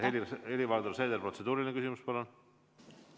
Helir-Valdor Seeder, protseduuriline küsimus, palun!